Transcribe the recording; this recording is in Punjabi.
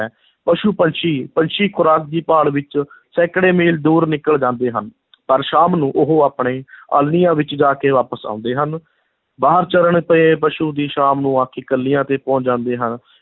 ਪਸ਼ੂ-ਪੰਛੀ, ਪੰਛੀ ਖੁਰਾਕ ਦੀ ਭਾਲ ਵਿੱਚ ਸੈਂਕੜੇ ਮੀਲ ਦੂਰ ਨਿਕਲ ਜਾਂਦੇ ਹਨ ਪਰ ਸ਼ਾਮ ਨੂੰ ਉਹ ਆਪਣੇ ਆਲ੍ਹਣਿਆਂ ਵਿੱਚ ਜਾ ਕੇ ਵਾਪਸ ਆਉਂਦੇ ਹਨ, ਬਾਹਰ ਚਰਨ ਪਏ ਪਸ਼ੂ ਵੀ ਸ਼ਾਮ ਨੂੰ ਆ ਕੇ ਕਿੱਲਿਆਂ 'ਤੇ ਪਹੁੰਚ ਜਾਂਦੇ ਹਨ।